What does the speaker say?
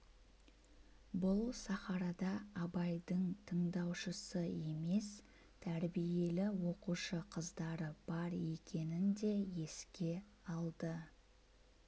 бұл сахарада абайдың тындаушысы емес тәрбиелі оқушы қыздары бар екенін де еске алды